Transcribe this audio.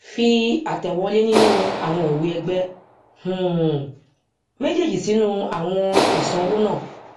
fi àtẹwọlé nínú àwọn ìwée ẹgbẹ um méjèèjì sínú àwọn ìsanwó naa